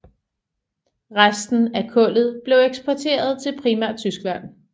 Resten af kullet bliver eksporteret til primært Tyskland